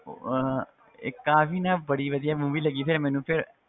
ਉਹ ਅਹ ਇੱਕ ਆਹ ਵੀ ਨਾ ਬੜੀ ਵਧੀਆ movie ਲੱਗੀ ਫਿਰ ਮੈਨੂੰ ਫਿਰ